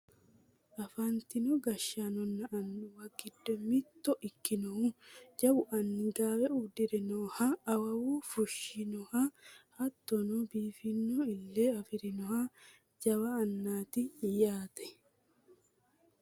Afantino gashshaanonna annuwa giddo mitto ikkinohu jawu anni gaawe uddire nooha awuuwe fushshinoha hattono biiffanno ille afirinoha jawa annaati yaate